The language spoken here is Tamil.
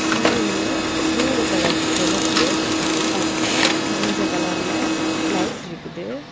சீலிங்ல மூணு கலர் செவப்பு பச்சை மஞ்ச கலர்ல லைட் இருக்குது.